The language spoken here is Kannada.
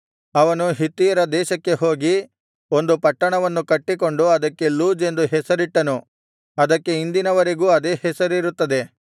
ಅವನು ಹಿತ್ತಿಯರ ದೇಶಕ್ಕೆ ಹೋಗಿ ಒಂದು ಪಟ್ಟಣವನ್ನು ಕಟ್ಟಿಕೊಂಡು ಅದಕ್ಕೆ ಲೂಜ್ ಎಂದು ಹೆಸರಿಟ್ಟನು ಅದಕ್ಕೆ ಇಂದಿನವರೆಗೂ ಅದೇ ಹೆಸರಿರುತ್ತದೆ